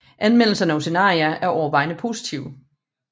Anmeldelserne af Oceania er overvejende positive